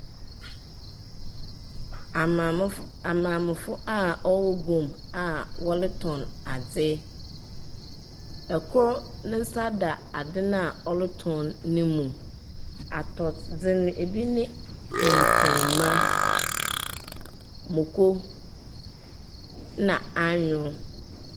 Amaame fo aa ɔwɔ gwom aa wɔle tɔn adze. Ɛkor ne nsa da ade na ɔletɔn ne mu. Atɔdze no ebi nye nkruma, moko na anwon.